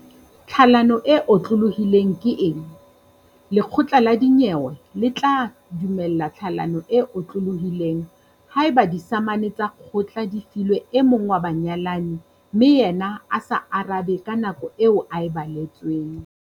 vTlhalano e otlolohileng ke eng? Lekgotla la dinyewe le tla dumella tlhalano e otlolohileng haeba disamane tsa kgotla di filwe e mong wa banyalani mme yena a sa arabe ka nako eo a e baletsweng.